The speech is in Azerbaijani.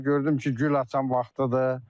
Gördüm ki, gül açan vaxtıdır.